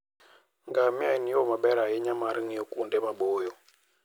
Ngamia en yo maber ahinya mar ng'iyo kuonde maboyo.